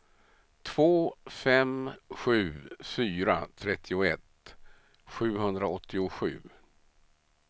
två fem sju fyra trettioett sjuhundraåttiosju